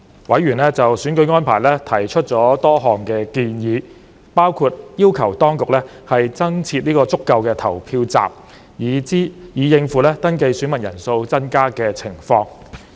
委員就選舉安排提出了多項建議，包括要求當局增設足夠的投票站，以應付登記選民人數增加的情況。